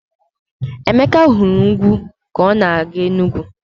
Emeka hụrụ ugwu ka ọ na-aga Enugwu.